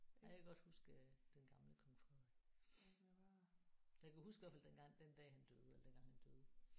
Ja jeg kan godt huske øh den gamle Kong Frederik. Jeg kan huske i hvert fald dengang den dag han døde eller dengang han døde